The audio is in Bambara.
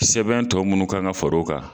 Sɛbɛn tɔ munnu kan ka fara o kan